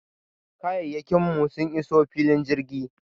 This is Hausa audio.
Kayayyakin mu sun iso filin jirgin.